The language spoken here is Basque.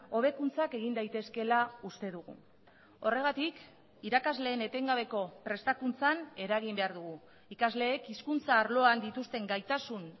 hobekuntzak egin daitezkeela uste dugu horregatik irakasleen etengabeko prestakuntzan eragin behar dugu ikasleek hizkuntza arloan dituzten gaitasun